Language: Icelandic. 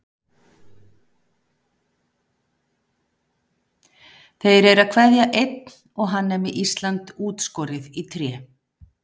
Þeir eru að kveðja einn og hann er með Ísland útskorið í tré.